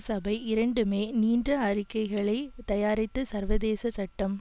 சபை இரண்டுமே நீண்ட அறிக்கைகளை தயாரித்து சர்வதேச சட்டம்